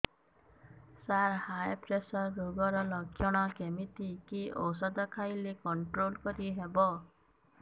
ସାର high pressure ରୋଗର ଲଖଣ କେମିତି କି ଓଷଧ ଖାଇଲେ କଂଟ୍ରୋଲ କରିହେବ